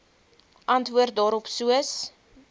antwoord daarop soos